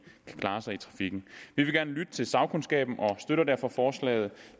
kan klare sig i trafikken vi vil gerne lytte til sagkundskaben og støtter derfor forslaget